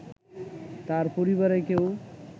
তার পরিবারের কেউ